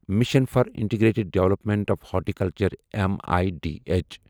mission for integrated development of horticulture میدھ